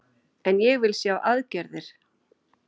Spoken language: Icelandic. En ég vil sjá aðgerðir